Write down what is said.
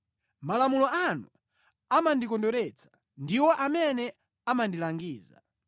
Malamulo anu amandikondweretsa; ndiwo amene amandilangiza.